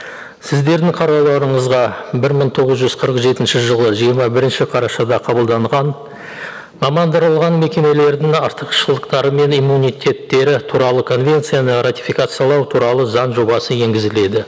сіздердің қарауларыңызға бір мың тоғыз жүз қырық жетінші жылы жиырма бірінші қарашада қабылданған мамандырылған мекемелердің артықшылықтары мен иммунитеттері туралы конвенцияны ратификациялау туралы заң жобасы енгізіледі